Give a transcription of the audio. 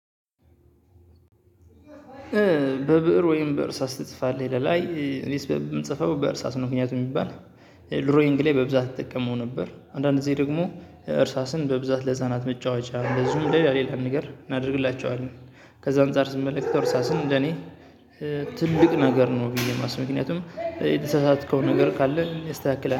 በብእር ወይም በእርሳስ ትጽፋለህ? ይላል አይ እኔስ ምጽፈው በእርሳስ ነው ምክንያቱም የሚባል ድሮይንግ ላይ በብዛት እጠቀመው ነበር። አንዳንድ ጊዜ ደግሞ እርሳስን በብዛት ለህፃናት መጫወቻ እንደዚሁም ሌላ ሌላ ንገር አደርግላችኋለን ከዛ አንፃር ስመለከተው እርሳስን እንደኔ ትልቅ ነገር ነው ብዬ ነው ማስበው ምክንያቱም የተሳሳተከው ነገር ካለ ያስተካክላል።